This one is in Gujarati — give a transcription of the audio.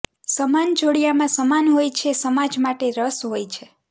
સમાન જોડીયામાં સમાન હોય છે સમાજ માટે રસ હોય છે